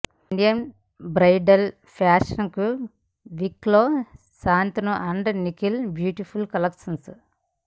India bridal fashion week లో Shantanu and Nikhil beautiful collections